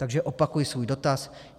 Takže opakuji svůj dotaz.